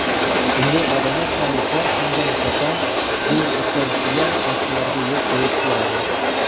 Unday odamlar hamisha unga nisbatan zulm o‘tkazishiga boshqalarga yo‘l qo‘yib beradi.